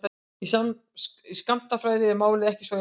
Í skammtafræði er málið ekki svona einfalt.